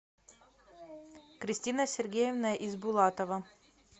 кристина сергеевна избулатова